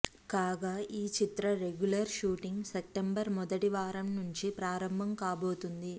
కాగా ఈ చిత్ర రెగ్యులర్ షూటింగ్ సెప్టెంబర్ మొదటివారం నుంచి ప్రారంభం కాబోతోంది